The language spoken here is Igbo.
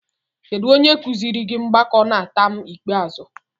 Kedu onye kụziiri gị mgbakọ na taam ikpeazụ?